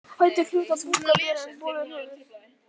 Fætur hljóta búk að bera en bolur höfuð.